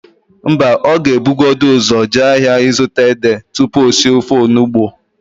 Mba, ọ ga-ebugodu ụzọ jee ahịa ịzụta édè tupu o sie ofe onugbo.